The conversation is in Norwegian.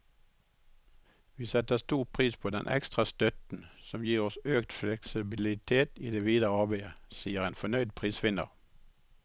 Vi setter stor pris på denne ekstra støtten, som gir oss økt fleksibilitet i det videre arbeidet, sier en fornøyd prisvinner.